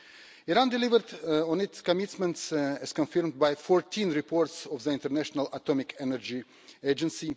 Iran delivered on its commitments, as confirmed by 14 reports of the International Atomic Energy Agency.